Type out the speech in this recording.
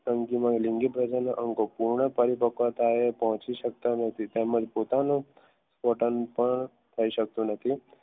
તંગી માહી લિંગી અંગો પૂર્ણ એ પહોંચી શકતા નથી તેમજ પોતાનો પણ કહી શકતો નથી